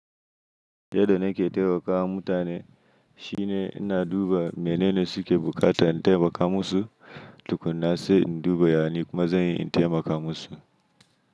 Yadda nake taimaka wa mutane shine ina duba menene suke bukata in taimaka musu, tukunna se in duba yani kuma zan yi in taimaka musu.